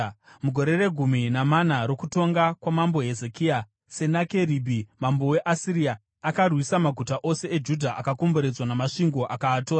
Mugore regumi namana rokutonga kwamambo Hezekia, Senakeribhi mambo weAsiria akarwisa maguta ose eJudha akakomberedzwa namasvingo akaatora.